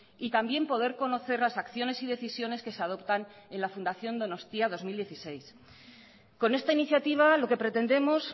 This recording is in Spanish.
y también poder conocer las acciones y decisiones que se adoptan en la fundación donostia dos mil dieciséis con esta iniciativa lo que pretendemos